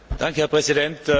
Herr Präsident!